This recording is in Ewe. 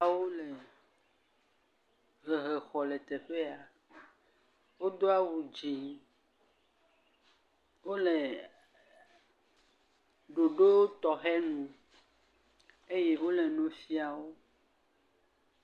Ɖewo le hehe xɔ le teƒea, wodo awu dzẽ, wole ɖoɖo tɔxɛ nu eye wole nu fiawo.